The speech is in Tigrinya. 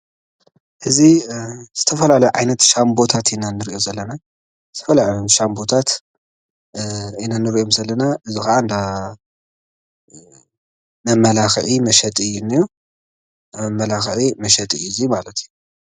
እዚ ዝተፈላለዩ ዓይነት ሻምቦታት ኢና ንሪኢ ዘለና፡፡ ሻምቦታት ኢና ንርኢ ዘለና ሻምቦታት እዚ ካዓ እንዳ መመላኪዒ መሸጢ ማለት እዩ፡፡